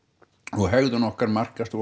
og hegðun okkar markast af